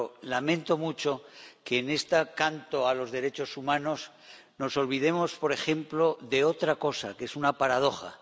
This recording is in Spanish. Pero lamento mucho que en este canto a los derechos humanos nos olvidemos, por ejemplo, de otra cosa, que es una paradoja.